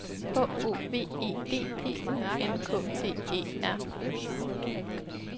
H O V E D P U N K T E R